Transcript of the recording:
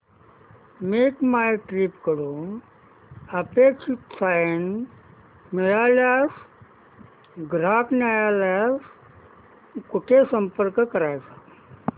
make my trip कडून अपेक्षित सहाय्य न मिळाल्यास ग्राहक न्यायालयास कुठे संपर्क करायचा